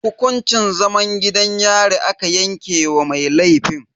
Hukuncin zaman gidan yari aka yanke wa mai laifin.